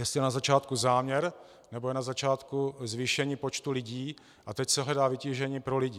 Jestli je na začátku záměr, nebo je na začátku zvýšení počtu lidí a teď se hledá vytížení pro lidi.